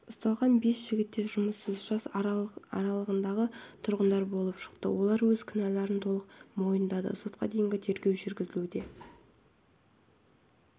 ұсталған бес жігіт те жұмыссыз жас аралығындағы тұрғындары болып шықты олар өз кінәларын толық мойындады сотқа дейінгі тергеу жүргізілуде